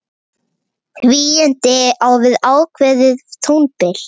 Tvíund á við ákveðið tónbil.